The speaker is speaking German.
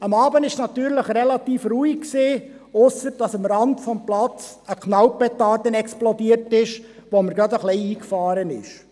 Abends war es natürlich relativ ruhig, ausser dass am Rande des Platzes eine Knallpetarde explodierte, was mir doch ein wenig eingefahren ist.